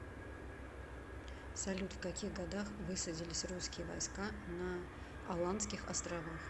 салют в каких годах высадились русские войска на аландских островах